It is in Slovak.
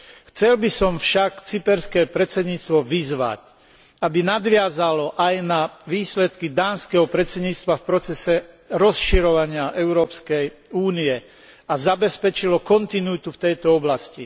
Chcel by som však cyperské predsedníctvo vyzvať, aby nadviazalo aj na výsledky dánskeho predsedníctva v procese rozširovania Európskej únie a zabezpečilo kontinuitu v tejto oblasti.